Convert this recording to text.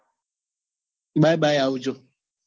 bye bye આવજો.